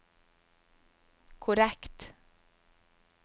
korrekt